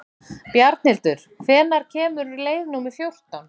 Bjarnhildur, hvenær kemur leið númer fjórtán?